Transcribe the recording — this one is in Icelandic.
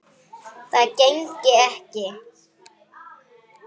Það gengi ekki